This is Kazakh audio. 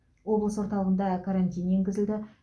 облыс орталығында карантин енгізілді